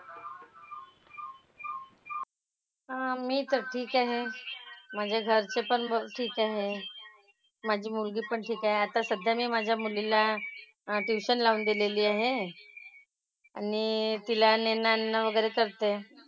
हां मी तर ठीक आहे . म्हणजे जास्ती पण बरं ठीक आहे. माझी मुलगी पण ठीक आहे. आता सध्या मी माझ्या मुलीला tuition लावून दिलेली आहे. आणि तिला नेणं आणणं वगैरे करते.